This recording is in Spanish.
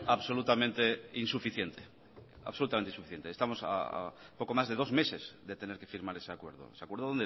absolutamente insuficiente absolutamente insuficiente estamos a poco más de dos a meses de tener que firmar ese acuerdo ese acuerdo